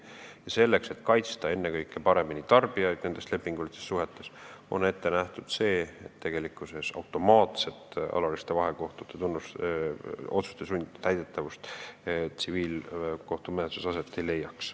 Ja selleks, et kaitsta nendes lepingulistes suhetes paremini ennekõike tarbijaid, on ette nähtud regulatsioon, et automaatset alaliste vahekohtute otsuste sundtäidetavust tsiviilkohtumenetluses ei ole.